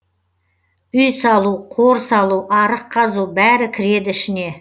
үй салу қор салу арық қазу бәрі кіреді ішіне